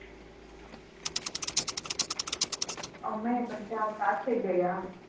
અમે બધા સાથે ગયા હતા